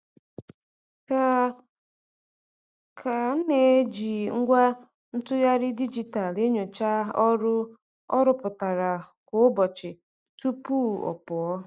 K K na-eji ngwa ntụgharị dijitalụ enyocha ọrụ ọ rụpụtara kwa n'ụbọchị tupu ọ pụọ.